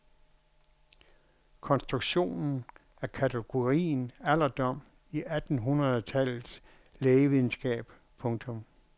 Konstruktionen af kategorien alderdom i attenhundrede tallets lægelitteratur. punktum